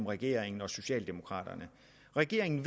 regeringen og socialdemokraterne regeringen